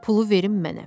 pulu verin mənə.